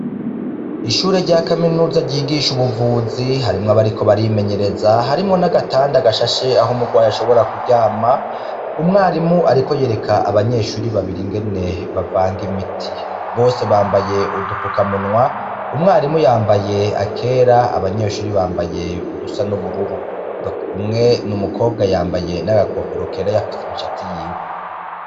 Ishure rya kaminuza ryigisha ubuvuzi harimwo abariko barimenyereza harimwo n'agatanda gashashe aho umurwaye ashobora kuryama umwarimu, ariko yereka abanyeshuri babiri ingene bavanga imiti bose bambaye udupfuka munwa umwarimu yambaye akera abanyeshuri bambaye udusa n'ubururu umwe ni umukobwa yambaye n'agakofero kera yafuse imishatsi yiwe.